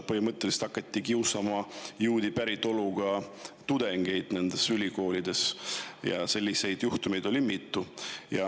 Põhimõtteliselt hakati nendes ülikoolides kiusama juudi päritolu tudengeid ja selliseid juhtumeid oli mitu.